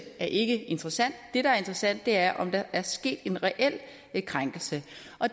er ikke interessant det der er interessant er om der er sket en reel krænkelse